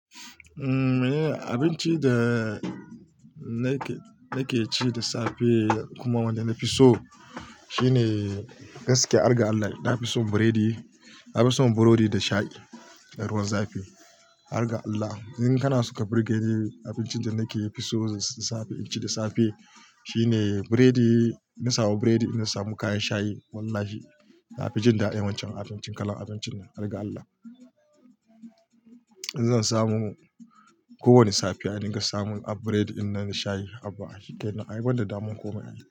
Umm, abincin da nake nake ci da safe kuma wanda na fi so shine gaskiya, har ga Allah, na fi son buredi. Na fi son burodi da shayi, da ruwan zafi. Har ga Allah, in kana so ka birgeni, abincin da nake fi so inci da safe, ci da safe shine biredi. In na samu buredi, in na samu kayan shayi, wallahi na fi jin da'a wancan abincin, kalan abincin ne. Har ga Allah, in zan samu ko wani safiya in na ga samu a buredi, in na shayi, abba. Shi kenan ai banda damuwan komai ai.